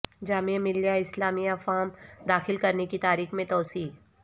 جامعہ Millia Islamia form داخل کرنے کی تاریخ میں توسیع